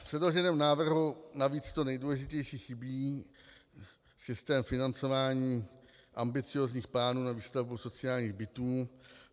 V předloženém návrhu navíc to nejdůležitější chybí - systém financování ambiciózních plánů na výstavbu sociálních bytů.